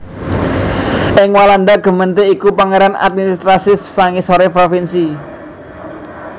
Ing Walanda gemeente iku pérangan administratif sangisoring provinsi